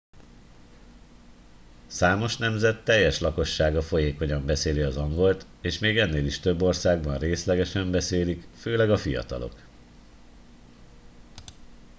számos nemzet teljes lakossága folyékonyan beszéli az angolt és még ennél is több országban részlegesen beszélik főleg a fiatalok